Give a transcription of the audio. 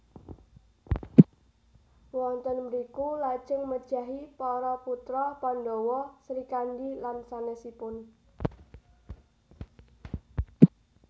Wonten mriku lajeng mejahi para putra Pandhawa Srikandi lan sanèsipun